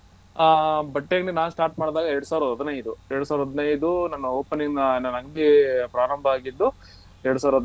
ಅಹ್ ಬಟ್ಟೆ ಅಂಗಡಿ ನಾನ್ start ಮಾಡದಾಗ ಎರಡು ಸಾವಿರದ ಹದಿನೈದು ಎರಡು ಸಾವಿರದ ಹದಿನೈದು ನಾನ್ opening ನನ್ನ ಅಂಗ್ಡಿ ಪ್ರಾರಂಬ ಆಗಿದ್ದು ಎರಡು ಸಾವಿರದ ಅದಿನೈದು.